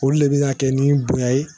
Olu de bɛ ka kɛ ni bonya ye